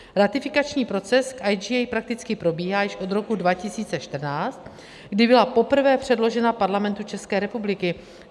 Ratifikační proces v IGA prakticky probíhá již od roku 2014, kdy byla poprvé předložena Parlamentu České republiky.